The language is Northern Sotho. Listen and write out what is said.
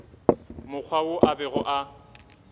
mokgwa wo a bego a